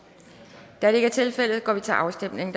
da det ikke er tilfældet går vi til afstemning